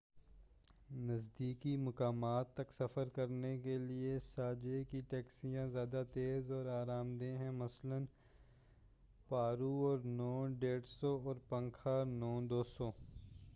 نزدیکی مقامات تک سفر کرنے کے لئے ساجھے کی ٹیکسیا ں زیادہ تیز اور آرام دہ ہیں، مثلاً پارو اور نو 150 اور پناکھا نو 200۔